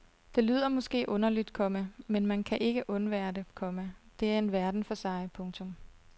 Det lyder måske underligt, komma men man kan ikke undvære det, komma det er en verden for sig. punktum